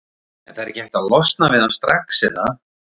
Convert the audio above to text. En það er ekki hægt að losna við hann strax er það?